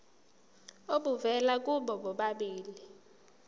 obuvela kubo bobabili